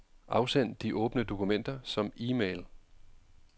Afsend de åbne dokumenter som e-mail.